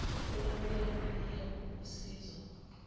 olwemukelwe kuyia kusizo